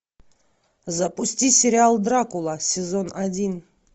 запусти сериал дракула сезон один